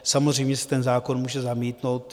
Samozřejmě se ten zákon může zamítnout.